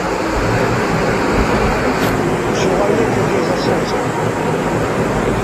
человек идет за солнцем